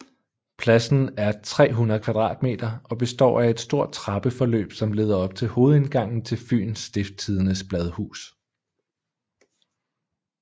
Pladsen er 300 m² og består af et stort trappeforløb som leder op til hovedindgangen til Fyens Stiftstidendes bladhus